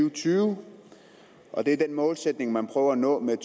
og tyve og det er den målsætning man prøver at nå med